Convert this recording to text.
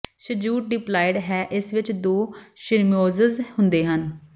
ਸ਼ੀਜੂਟ diploid ਹੈ ਅਤੇ ਇਸ ਵਿੱਚ ਦੋ ਸ਼੍ਰੋਮਿਜ਼ੋਮਜ਼ ਹੁੰਦੇ ਹਨ